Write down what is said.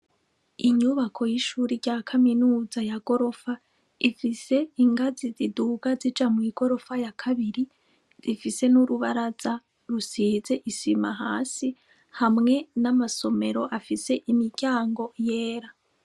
Inyubako y'ishure rya kamenuza ya gorofa ifise ingazi ziduga zija mu igorofa ya kabiri , rifise n'urubaraza rusize isima hasi, hamwe n'amasomero afise imiryango yera.